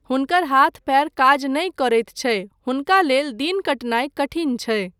हुनकर हाथ पयर काज नहि करैत छै, हुनका लेल दिन कटनाय कठिन छै।